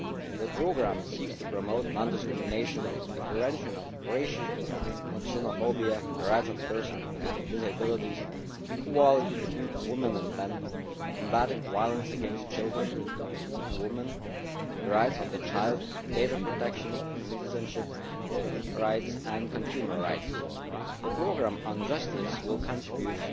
The programme seeks to promote non discrimination and the prevention of racism and xenophobia, the rights of persons with disabilities, equality between women and men, combating violence against women and children, the rights of the child, data protection, citizenship rights and consumer rights. The programme on justice will contribute